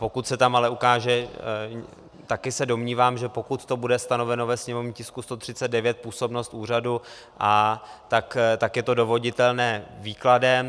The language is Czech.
Pokud se tam ale ukáže - taky se domnívám, že pokud to bude stanoveno ve sněmovním tisku 139, působnost úřadu, tak je to dovoditelné výkladem.